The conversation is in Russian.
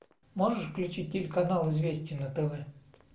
можешь включить телеканал известия на тв